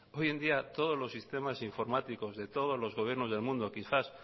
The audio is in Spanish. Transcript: hoy en día todos los sistemas informáticos de todos los gobiernos del mundo quizás